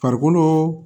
Farikolo